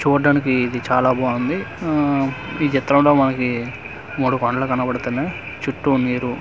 చూడ్డానికి ఇది చాలా బాగుంది ఆ ఈ చిత్రంలో మనకీ మూడు పాన్ లా కనబడుతున్నాయి చుట్టూ నీరూ--